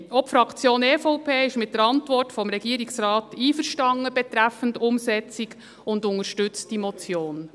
Auch die Fraktion EVP ist mit der Antwort des Regierungsrates betreffend die Umsetzung einverstanden und unterstützt diese Motion.